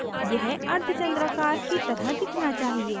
यह अर्धचंद्राकर की तरह दिखना चाहिए